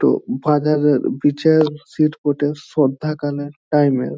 তো ফাদারের শ্রদ্ধাকালের টাইমের --